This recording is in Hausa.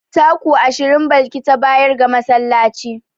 Taku ashirin Balki ta bayar ga masallaci.